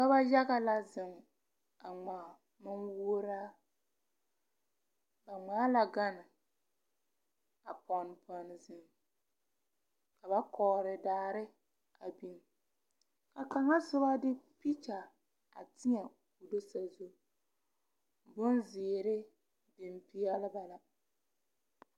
Pɔgeba yaga la zeŋ a ŋmaa manwuoraa ba ŋmaa la gane a pɔnne pɔnne zeŋ ka ba kɔɔre daare a biŋ a kaŋa soba de pikita a tēɛ o tɔ soba zu bonzeere biŋ peɛle ba la.